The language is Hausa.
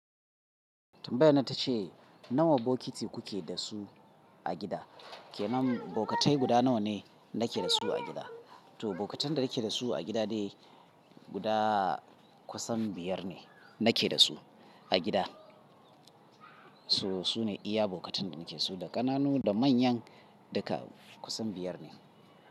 Tumbayar nan ta ce nawa bokiti kuke da su a gida? Ke nan bokatai guda nawa ne nake da su a gida? To bokatan da nake da su a gida dai guda kusan biyar ne nake da su a gida. So su ne iya bokatan da nake da su, da ƙananu da manyan duka kusan biyar ne.